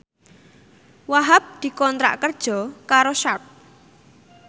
Wahhab dikontrak kerja karo Sharp